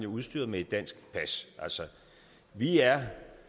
udstyret med et dansk pas vi er